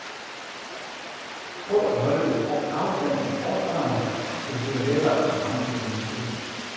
Prøv at holde lidt afstand til forsvaret, så det bliver lettere at ramme din medspiller.